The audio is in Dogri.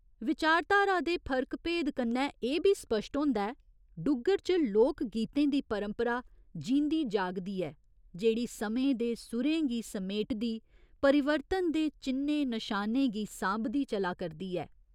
विचारधारा दे फर्क भेद कन्नै एह् बी स्पश्ट होंदा ऐ डुग्गर च लोक गीतें दी परंपरा जींदी जागदी ऐ, जेह्ड़ी समें दे सुरें गी समेटदी परिवर्तन दे चि'न्नें नशानें गी सांभदी चला करदी ऐ।